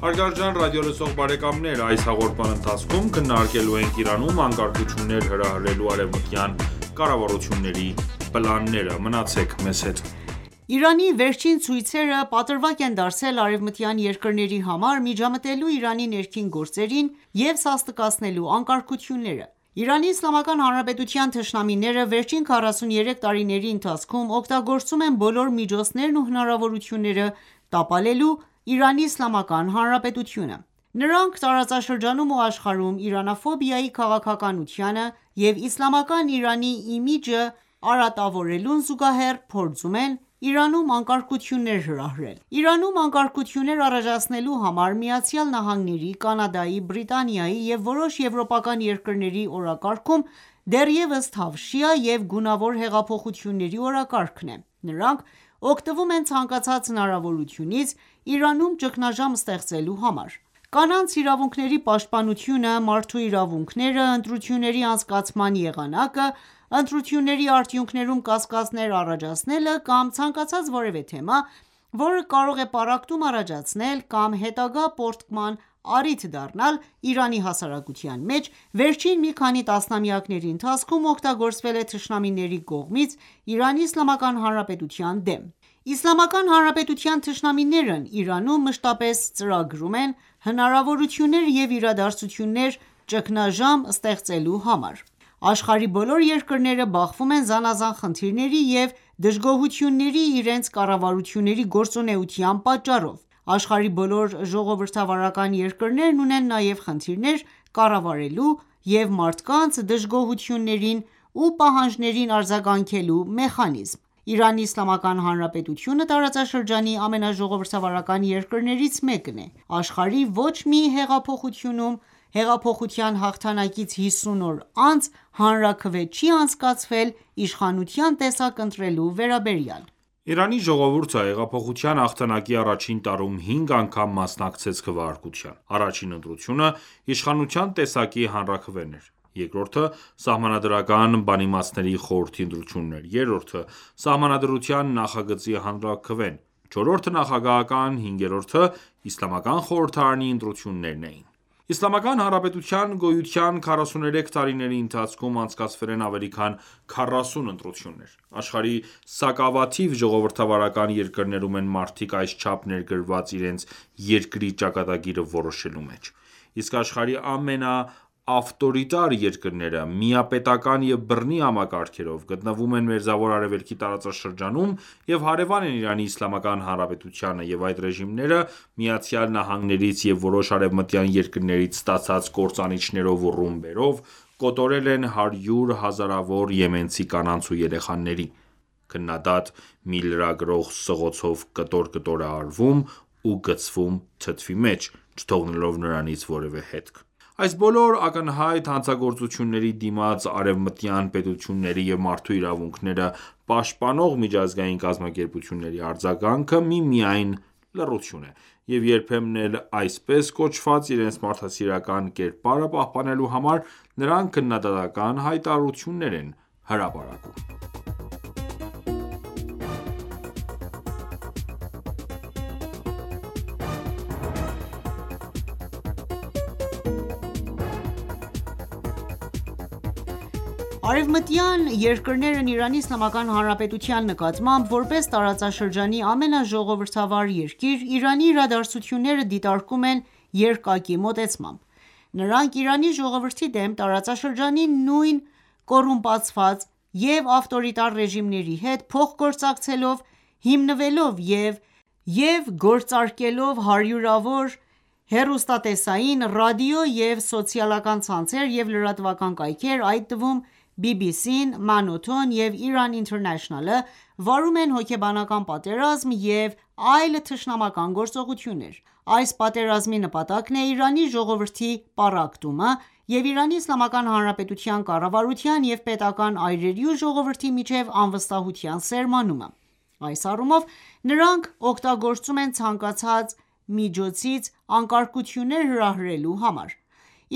Հարգարժան ռադիոլսող բարեկամներ այս հաղորդման ընթացքում քննարկելու ենք Իրանում անկարգություններ հրահրելու արևմտյան կառավարությունների պլանները։ Մնացեք մեզ հետ: Իրանի վերջին ցույցերը պատրվակ են դարձել արևմտյան երկրների համար՝ միջամտելու Իրանի ներքին գործերին և սաստկացնելու անկարգությունները: Իրանի Իսլամական Հանրապետության թշնամիները վերջին 43 տարիների ընթացքում օգտագործում են բոլոր միջոցներն ու հնարավորությունները՝ տապալելու Իրանի Իսլամական Հանրապետությունը։ Նրանք Տարածաշրջանում ու աշխարհում Իրանաֆոբիայի քաղաքականությանը և Իսլամական Իրանի իմիջը արատավորելուն զուգահեռ, փորձում են Իրանում անկարգություններ հրահրել։ Իրանում անկարգություններ առաջացնելու համար ԱՄՆ-ի, Կանադայի, Բրիտանիայի և որոշ եվրոպական երկրների օրակարգում դեռևս թավշյա և գունավոր հեղափոխությունների օրակարգն է։ Նրանք օգտվում են ցանկացած հնարավորությունից Իրանում ճգնաժամ ստեղծելու համար։ Կանանց իրավունքների պաշտպանությունը, մարդու իրավունքները, ընտրությունների անցկացման եղանակը, ընտրությունների արդյունքներում կասկածներ առաջացնելը կամ ցանկացած որևէ թեմա, որը կարող է պառակտում առաջացնել կամ հետագա պառակտման առիթ դառնալ Իրանի հասարակության մեջ, վերջին մի քանի տասնամյակների ընթացքում օգտագործվել է թշնամիների կողմից Իրանի Իսլամական Հանրապետության դեմ: Իսլամական Հանրապետության թշնամիներն Իրանում մշտապես ծրագրում են հնարավորություններ և իրադարձություններ՝ ճգնաժամ ստեղծելու համար։ Աշխարհի բոլոր երկրները բախվում են զանազան խնդիրների ու դժգոհությունների իրենց կառավարությունների գործունեության պատճառով։ Աշխարհի բոլոր ժողովրդավարական երկրներն ունեն նաև խնդիրներ կառավարելու և մարդկանց դժգոհություններին ու պահանջներին արձագանքելու մեխանիզմներ։ Իրանի Իսլամական Հանրապետությունը տարածաշրջանի ամենաժողովրդավարական երկրներից մեկն է։ Աշխարհի ոչ մի հեղափոխությունում, հեղափոխության հաղթանակից հիսուն օր անց հանրաքվե չի անցկացվել իշխանության տեսակ ընտրելու վերաբերյալ։ Իրանի ժողովուրդը հեղափոխության հաղթանակի առաջին տարում հինգ անգամ մասնակցեց քվեարկության։ Առաջին ընտրությունը իշխանության տեսակի հանրաքվեն էր, Երկրորդը Սահմանադրական բանիմացների խորհրդի ընտրությունն էր, երրորդը՝ սահմանադրության նախագծի հանրաքվեն։ Չորրորդը նախագահական, հինգերորդը՝ Իսլամական խորհրդարանի ընտրություններն էին։ Իսլամական Հանրապետության գոյության 43 տարիների ընթացքում անցկացվել են ավելի քան քառասուն ընտրություններ։ Աշխարհի սակավաթիվ ժողովրդավարական երկրներում են մարդիկ այս չափ ներգրավված իրենց երկրի ճակատագիրը որոշելու մեջ։ Իսկ աշխարհի ամենաավտորիտար ​​երկրները՝ միապետական ​​և բռնի համակարգերով, գտնվում են Մերձավոր Արևելքի տարածաշրջանում և հարևան են Իրանի Իսլամական Հանրապետությանը, և այդ ռեժիմները ԱՄՆ-ից և որոշ արևմտյան երկրներից ստացած կործանիչներով ու ռումբերով կոտորել են հարյուր հազարավոր եմենցի կանանց ու երեխաների: Քննադատ մի ​​լրագրող սղոցով կտոր-կտոր է արվում ու գցվում թթվի մեջ՝ չթողնելով նրանից որևէ հետք: Այս բոլոր ակնհայտ հանցագործությունների դիմաց Արևմտյան պետությունների և մարդու իրավունքները պաշտպանող միջազգային կազմակերպությունների արձագանքը միմիայն լռություն է, և երբեմն էլ այսպես կոչված իրենց մարդասիրական կերպարը պահպանելու համար նրանք քննադատական ​​հայտարարություն են հրապարակում։ Արևմտյան երկրներն Իրանի Իսլամական Հանրապետության նկատմամբ որպես տարածաշրջանի ամենաժողովրդավար երկիր, Իրանի իրադարձությունները դիտարկում են երկակի մոտեցմամբ: Նրանք, Իրանի ժողովրդի դեմ, տարածաշրջանի նույն կոռումպացված և ավտորիտար ռեժիմների հետ փոխգործակցելով՝ հիմնելով և գործարկելով հարյուրավոր հեռուստատեսային, ռադիո և սոցիալական ցանցեր և լրատվական կայքեր, այդ թվում՝ BBC-ն, MANOTO-ն և Iran International-ը, վարում են հոգեբանական պատերազմ և այլ թշնամական գործողություններ: Այս պատերազմի նպատակն է Իրանի ժողովրդի պառակտումը և Իրանի Իսլամական Հանրապետության կառավարության և պետական ​​այրերի ու ժողովրդի միջև անվստահության սերմանումը: Այս առումով նրանք օգտագործում են ցանկացած միջոցից անկարգություններ հրահրելու համար։